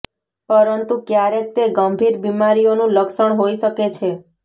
પરંતુ ક્યારેક તે ગંભીર બીમારીઓનું લક્ષણ હોઈ શકે છે